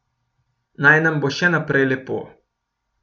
Naj nam bo še naprej lepo.